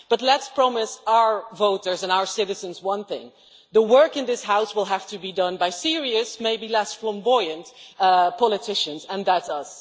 But let us promise our voters and our citizens one thing the work in this House will have to be done by serious and maybe less flamboyant politicians, and that is us.